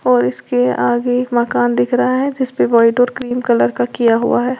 और इसके आगे एक मकान दिख रहा है जिसपे व्हाइट और क्रीम कलर का किया हुआ है।